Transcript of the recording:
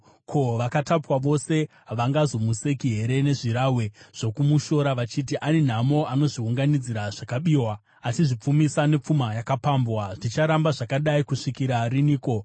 “Ko, vakatapwa vose havangazomuseki here nezvirahwe zvokumushora vachiti, “ ‘Ane nhamo anozviunganidzira zvakabiwa anozvipfumisa nepfuma yakapambwa! Zvicharamba zvakadai kusvikira riniko?’